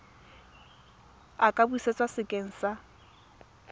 a ka busetswa sekeng sa